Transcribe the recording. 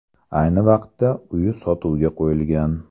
Ayni vaqtda uy sotuvga qo‘yilgan.